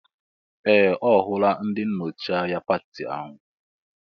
Ee! Ọ hụla ndị nnọchi anya pati ahụ.